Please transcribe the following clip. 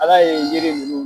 Ala ye yiri nunnu